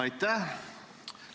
Aitäh!